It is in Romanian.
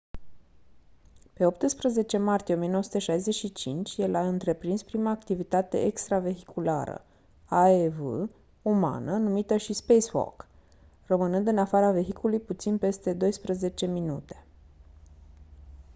pe 18 martie 1965 el a întreprins prima activitate extravehiculară aev umană numită și «spacewalk» rămânând în afara vehiculului puțin peste douăsprezece minute.